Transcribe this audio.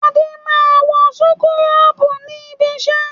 Adé máa ń wọ súkúrọ́bù ní ibiṣẹ́.